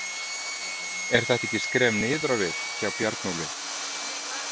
Er þetta ekki skref niður á við hjá Bjarnólfi?